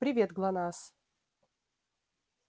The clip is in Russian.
привет глонассс